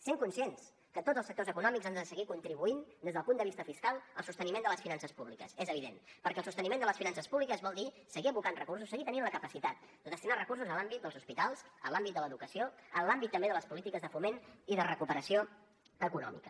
sent conscients que tots els sectors econòmics han de seguir contribuint des del punt de vista fiscal al sosteniment de les finances públiques és evident perquè el sosteniment de les finances públiques vol dir seguir abocant recursos i seguir tenint la capacitat de destinar recursos en l’àmbit dels hospitals en l’àmbit de l’educació en l’àmbit també de les polítiques de foment i de recuperació econòmica